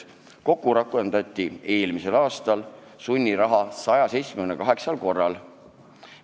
Kokku rakendati eelmisel aastal sunniraha 178 korral.